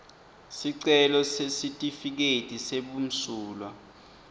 sicelo sesitifiketi sebumsulwa